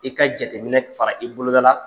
I ka jateminɛ fara i boloda la.